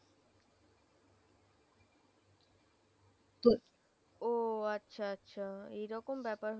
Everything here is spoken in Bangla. ও আচ্ছা আচ্ছা এই রকম ব্যাপার